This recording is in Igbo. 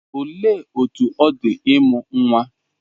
Olee otú ọ dị ịmụ nwa?